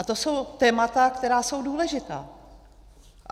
A to jsou témata, která jsou důležitá.